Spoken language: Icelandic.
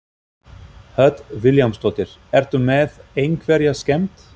Hödd Vilhjálmsdóttir: Ertu með einhverja skemmd?